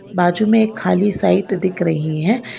बाजू में खाली साइट दिख रही है।